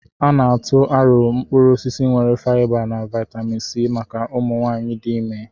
A na-atụ arọ̀ mkpụrụ osisi nwere faịba na vaịtamịn C maka ụmụ nwanyị dị ime.